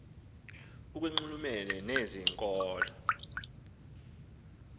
ikwanxulumene nezi nkolo